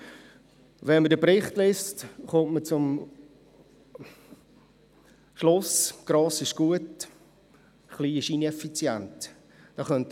Beim Lesen des Berichts kommt man zum Schluss, dass gross gut und klein ineffizient ist.